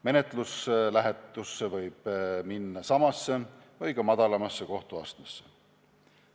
Menetluslähetusse võib minna samasse või ka madalamasse kohtuastmesse.